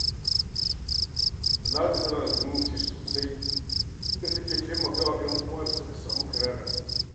Talatu tana da zumunci sosai, inda take taimaka wa 'yan uwan da suka samu karayar arziki.